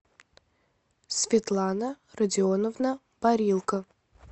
светлана родионовна парилка